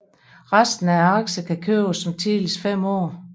Resten af aktierne kan købes om tidligst 5 år